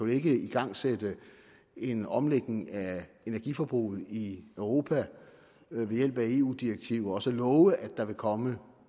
ikke igangsætte en omlægning af energiforbruget i europa ved hjælp af eu direktiver og så love at der vil komme